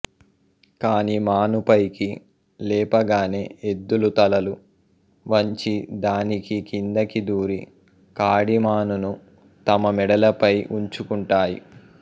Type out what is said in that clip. కాడి మాను పైకి లేపగానె ఎద్దులు తలలు వంచి దాని కిందికి దూరి కాడిమానును తమ మెడలపై వుంచుకుంటాయి